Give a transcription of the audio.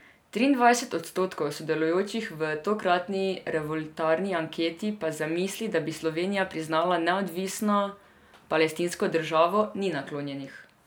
Triindvajset odstotkov sodelujočih v tokratni revoltirani anketi pa zamisli, da bi Slovenija priznala neodvisno palestinsko državo, ni naklonjenih.